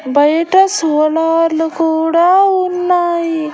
బయట సోలార్ లు కూడా ఉన్నాయి.